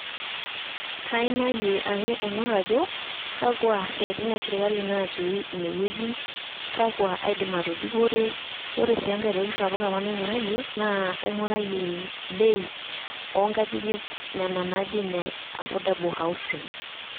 Kaaimayie ake aing'or ajo kakwa siatin esirkali natii ine wueji kakwa aidim atudupore ,ore sii enkai toki sapuk naing'urayie naa aing'urayie bei oonkajijik nena naaji ine affordable housing.